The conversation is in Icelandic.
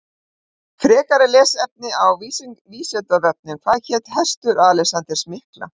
Frekara lesefni á Vísindavefnum Hvað hét hestur Alexanders mikla?